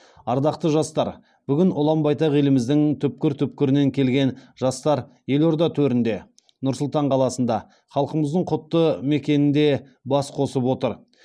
ардақты жастар бүгін ұлан байтақ еліміздің түкпір түкпірінен келген жастар елорда төрінде нұр сұлтан қаласында халқымыздың құтты мекенінде бас қосып отыр